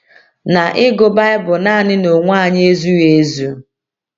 Na ịgụ Baịbụl naanị n’onwe anyị ezughị ezu.